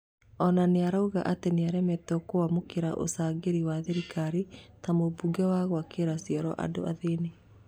Ona nĩarauga atĩ nĩaremetwo kwamũkĩra ũcangĩri wa thirikari ta mũbango wa gwakĩra cĩoro andũ athĩni.